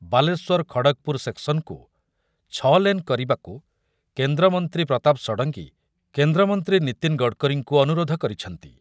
ବାଲେଶ୍ବର ଖଡଗପୁର ସେକ୍ସନକୁ ଛଅ ଲେନ କରିବାକୁ କେନ୍ଦ୍ର ମନ୍ତ୍ରୀ ପ୍ରତାପ ଷଡଙ୍ଗୀ କେନ୍ଦ୍ରମନ୍ତ୍ରୀ ନିତୀନ ଗଡକାରୀଙ୍କୁ ଅନୁରୋଧ କରିଛନ୍ତି ।